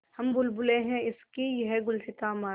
हम बुलबुलें हैं इसकी यह गुलसिताँ हमारा